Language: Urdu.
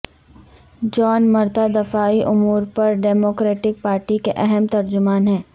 جان مرتھا دفاعی امور پر ڈیموکریٹک پارٹی کے اہم ترجمان ہیں